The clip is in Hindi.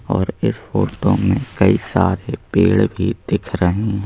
और इस फोटो में कई सारे पेड़ भी दिख रहे हैं।